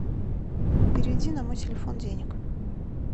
переведи на мой телефон денег